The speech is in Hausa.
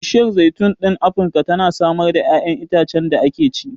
Bishiyar zaitun ɗin Afirka tana samar da ƴaƴanan itacen da ake ci.